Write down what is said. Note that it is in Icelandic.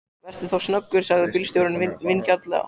Vertu þá snöggur, sagði bílstjórinn vingjarnlega.